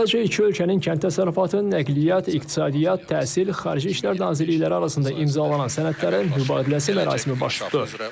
Əvvəlcə iki ölkənin Kənd Təsərrüfatı, Nəqliyyat, İqtisadiyyat, Təhsil, Xarici İşlər Nazirliklərinin arasında imzalanan sənədlərin mübadiləsi mərasimi baş tutdu.